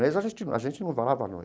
Mas a gente a gente não a